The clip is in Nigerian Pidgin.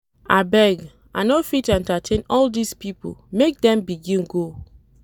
Abeg, I no fit entertain all dese pipo, make dem begin go.